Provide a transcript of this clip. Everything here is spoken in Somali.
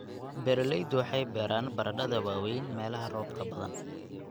Beeraleydu waxay beeraan baradhada waaweyn meelaha roobka badan.